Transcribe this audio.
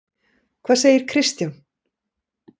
Hvað segir Kristján?